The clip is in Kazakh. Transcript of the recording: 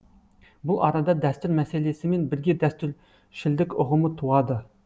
бұл арада дәстүр мәселесімен бірге дәстүршілдік ұғымы туады